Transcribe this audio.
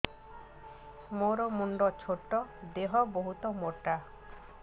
ମୋର ମୁଣ୍ଡ ଛୋଟ ଦେହ ବହୁତ ମୋଟା